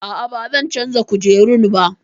A'a, ba zan canza kujerun ba